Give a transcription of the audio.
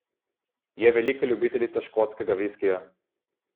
Je velika ljubiteljica škotskega viskija.